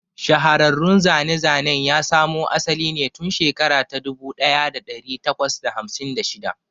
Shahararrun zane-zanen ya samo asali ne tun shekara ta dubu ɗaya da ɗari takwas da hamsin da shida.